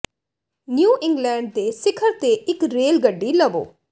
new England ਦੇ ਸਿਖਰ ਤੇ ਇੱਕ ਰੇਲ ਗੱਡੀ ਲਵੋ